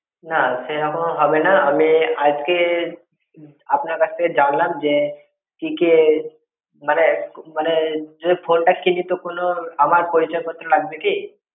না সেরকম হবে না। আমি আজকে আপনার কাছ থেকে জানলাম যে কি কি মানে মানে যদি phone টা কিনি তো কোনো আমার পরিচয় পত্র লাগবে কি?